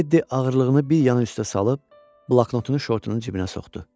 Teddi ağırlığını bir yana üstə salıb bloknotunu şortunun cibinə soxdu.